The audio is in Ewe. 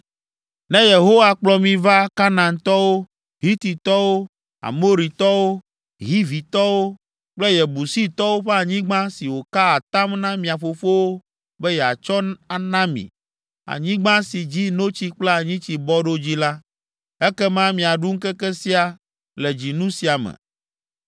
Ne Yehowa kplɔ mi va Kanaantɔwo, Hititɔwo, Amoritɔwo, Hivitɔwo kple Yebusitɔwo ƒe anyigba si wòka atam na mia fofowo be yeatsɔ ana mi, anyigba ‘si dzi notsi kple anyitsi bɔ ɖo’ dzi la, ekema miaɖu ŋkeke sia le dzinu sia me.